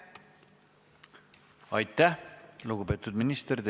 Aitäh, lugupeetud minister!